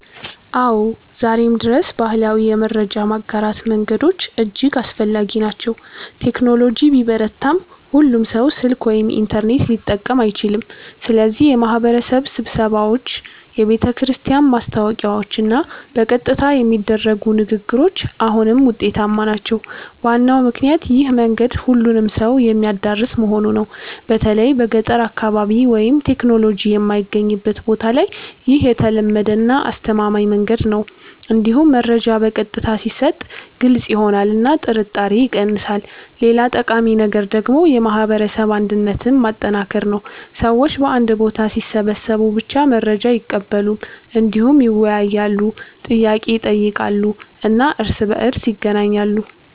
አዎ፣ ዛሬም ድረስ ባህላዊ የመረጃ ማጋራት መንገዶች እጅግ አስፈላጊ ናቸው። ቴክኖሎጂ ቢበረታም ሁሉም ሰው ስልክ ወይም ኢንተርኔት ሊጠቀም አይችልም፣ ስለዚህ የማህበረሰብ ስብሰባዎች፣ የቤተክርስቲያን ማስታወቂያዎች እና በቀጥታ የሚደረጉ ንግግሮች አሁንም ውጤታማ ናቸው። ዋናው ምክንያት ይህ መንገድ ሁሉንም ሰው የሚያደርስ መሆኑ ነው። በተለይ በገጠር አካባቢ ወይም ቴክኖሎጂ የማይገኝበት ቦታ ላይ ይህ የተለመደ እና አስተማማኝ መንገድ ነው። እንዲሁም መረጃ በቀጥታ ሲሰጥ ግልጽ ይሆናል እና ጥርጣሬ ይቀንሳል። ሌላ ጠቃሚ ነገር ደግሞ የማህበረሰብ አንድነትን ማጠናከር ነው። ሰዎች በአንድ ቦታ ሲሰበሰቡ ብቻ መረጃ አይቀበሉም፣ እንዲሁም ይወያያሉ፣ ጥያቄ ይጠይቃሉ እና እርስ በእርስ ይገናኛሉ።